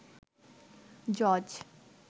জজ